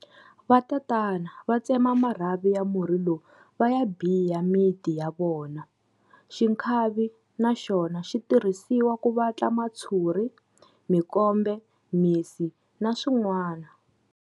Vatatana va tsema marhavi ya murhi lowu va ya biya miti ya vona. Xikhavi na xona xi tirhisiwa ku vatla matshuri, mikombe, misi na swinwana.